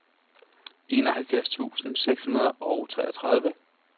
enoghalvfjerds tusind seks hundrede og treogtredive